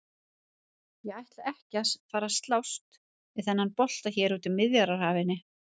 Ég ætla ekki að fara að slást við þennan bolta hérna úti á Miðjarðarhafinu!